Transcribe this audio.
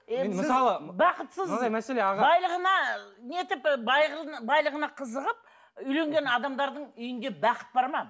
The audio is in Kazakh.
байлығына нетіп і байлығына қызығып үйленген адамдардың үйінде бақыт бар ма